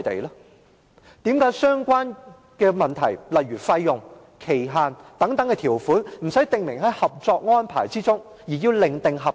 為甚麼相關問題如費用、期限等條款，不是訂明在《合作安排》中而要另訂合同？